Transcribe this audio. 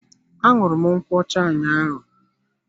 Aṅụru m nkwocha ụnyaahụ.